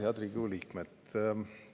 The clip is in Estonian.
Head Riigikogu liikmed!